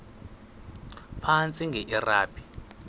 phantsi enge lrabi